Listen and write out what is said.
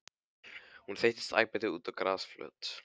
Hún þeyttist æpandi út á grasflöt.